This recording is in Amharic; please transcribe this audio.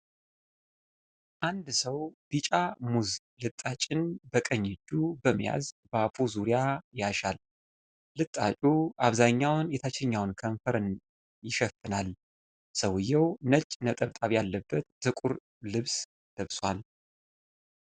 አንድ ሰው ቢጫ ሙዝ ልጣጭን በቀኝ እጁ በመያዝ በአፉ ዙሪያ ያሻል። ልጣጩ አብዛኛውን የታችኛውን ከንፈር ይሸፍናል። ሰውየው ነጭ ነጠብጣብ ያለበት ጥቁር ልብስ ለብሷል።